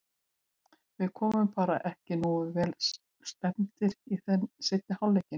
Við komum bara ekki nógu vel stemmdir í seinni hálfleikinn.